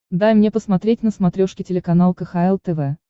дай мне посмотреть на смотрешке телеканал кхл тв